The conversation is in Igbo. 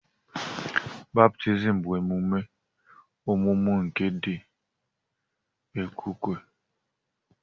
Baptizim bụ emume ọmụmụ nke ndi okwukwe